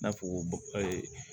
I n'a fɔ ee